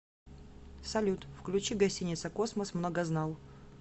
салют включи гостиница космос многознал